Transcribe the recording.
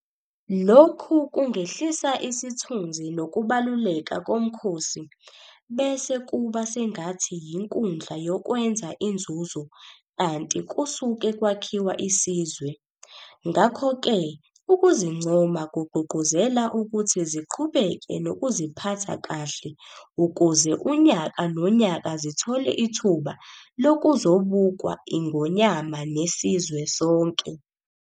Lokhu kungehlisa isithunzi nokubaluleka koMkhosi bese kuba sengathi yinkundla yokwenza inzuzo kanti kusuke kwakhiwa isizwe. Ngakho-ke ukuzincoma kugqugquzela ukuthi ziqhubeke nokuziphatha kahle ukuze unyaka nonyaka zithole ithuba lokuzobukwa iNgonyama nesizwe sonke.